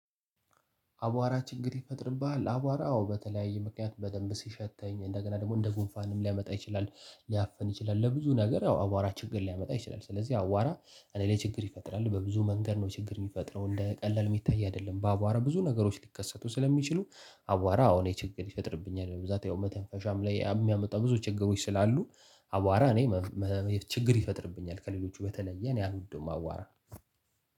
አቧራ ችግር ይፈጥርብሃል። አቧራ አዎ በተለያየ ምክንያት በደንብ ሲሸተኝ እንደገና ደግሞ እንደ ጉንፋንም ሊያመጣ ይችላል። ሊያፍን ይችላል። ለብዙ ነገር ያው አዋራ ችግር ሊያመጣ ይችላል። ስለዚህ አዋራ እኔ ላይ ችግር ይፈጥራል በብዙ መንገድ ነው ችግር ሚፈጥረው እንደ ቀላል ሚታይ አይደለም። በአቧራ ብዙ ነገሮች ሊከሰቱ ስለሚችሉ። አዋራ አዎ እኔ ችግር ይፈጥርብኛል። በብዛት ያው መተንፈሻም ላይ አምሚያመጣው ብዙ ችግሮች ስላሉ። አቧራ እኔ መፍ መ ችግር ይፈጥርብኛል ከሌሎቹ በተለየ እኔ አልወደውም። አዋራ